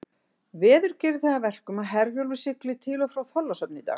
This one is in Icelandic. Veður gerir það að verkum að Herjólfur siglir til og frá Þorlákshöfn í dag.